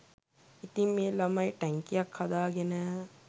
ඉතින් මේ ළමයි ටැංකියක් හදාගෙන